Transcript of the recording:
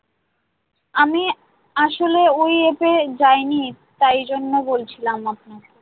আমি আসলে ওই ইয়েতে যায়নি তাই জন্য বলছিলাম আপনাকে।